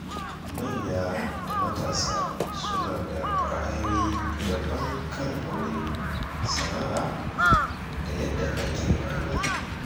Manya da matasa suna da ra’ayoyi daban kan aure, sana’a, da yadda ake rayuwa.